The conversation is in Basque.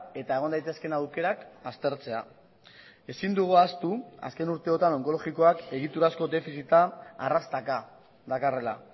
eta egon daitezkeen aukerak aztertzea ezin dugu ahaztu azken urteotan onkologikoak egiturazko defizita arrastaka dakarrela